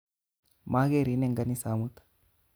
Makerin eng' kanisa amut.